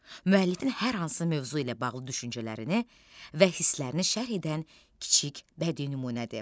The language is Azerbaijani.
Müəllifin hər hansı mövzu ilə bağlı düşüncələrini və hisslərini şərh edən kiçik bədii nümunədir.